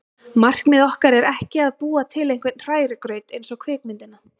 Markmið okkar er ekki að búa til einhvern hrærigraut eins og kvikmyndina